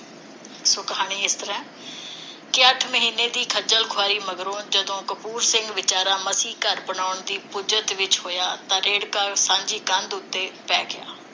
ਸੋ ਕਹਾਣੀ ਇਸ ਤਰ੍ਹਾਂ ਹੈ ਕਿ ਅੱਠ ਮਹੀਨੇ ਦੀ ਖੱਜਲ ਖ਼ੁਆਰੀ ਮਗਰੋਂ ਜਦੋਂ ਕਪੂਰ ਸਿੰਘ ਵਿਚਾਰਾ ਮਸੀਂ ਘਰ ਬਣਾਉਣ ਦੀ ਪੁੱਜਤ ਵਿੱਚ ਹੋਇਆ ਤਾਂ ਰੇੜ੍ਹਕਾ ਸਾਂਝੀ ਕੰਧ ਉਤੇ ਪੈ ਗਿਆ ।